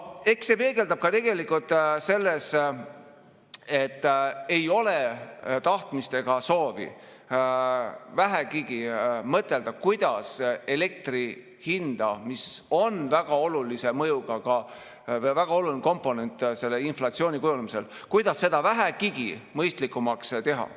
Eks see peegeldab ka seda, et ei ole tahtmist ega soovi vähegi mõtelda, kuidas elektri hinda, mis on väga olulise mõjuga, väga oluline komponent selle inflatsiooni kujunemisel, vähegigi mõistlikumaks teha.